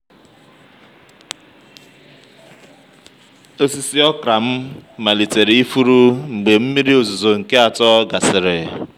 osisi okra m malitere ifuru mgbe mmiri ozuzo nke atọ gasịrị.